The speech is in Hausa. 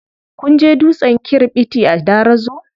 Kun je dutsen kirɓiti a Darazo?